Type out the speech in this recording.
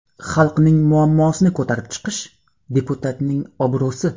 Xalqning muammosini ko‘tarib chiqish, deputatning obro‘si.